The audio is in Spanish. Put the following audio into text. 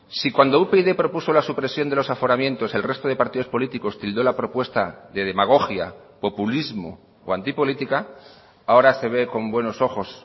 si cuando upyd propuso la supresión de los aforamientos el resto de partidos políticos tildó la propuesta de demagogia populismo o antipolítica ahora se ve con buenos ojos